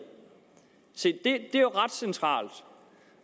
se det er jo ret centralt